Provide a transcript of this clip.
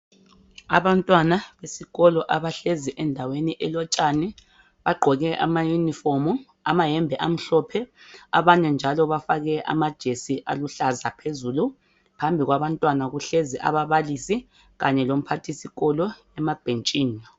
Abantwana besikolo abahlezi endaweni elotshani bagqoke ama uniform amayembe amhlophe abanye njalo bafake amajesi aluhlaza phezulu phambi kwabantwana kuhlezi ababalisi kanye lomphathisikolo emabhentshini.